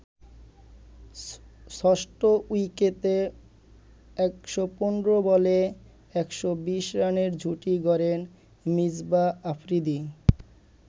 ষষ্ঠ উইকেটে ১১৫ বলে ১২০ রানের জুটি গড়েন মিসবাহ-আফ্রিদি।